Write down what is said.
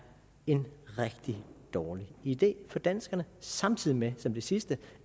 en rigtig dårlig idé for danskerne samtidig med som det sidste